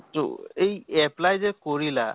তʼ এই apply যে কৰিলা